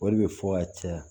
O de bɛ fɔ ka caya